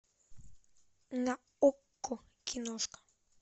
на окко киношка